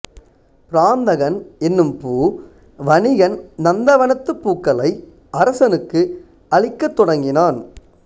பிராந்தகன் என்னும் பூ வணிகன் நந்தவனத்துப் பூக்களை அரசனுக்கு அளிக்கத் தொடங்கினான்